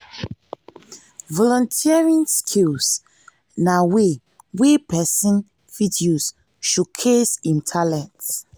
volunteering skills na way wey person fit use showcase im talent